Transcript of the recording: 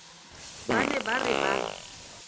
ba ne ba re ba